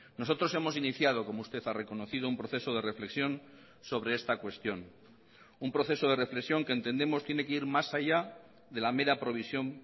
nosotros hemos iniciado como usted ha reconocido un proceso de reflexión sobre esta cuestión un proceso de reflexión que entendemos tiene que ir más allá de la mera provisión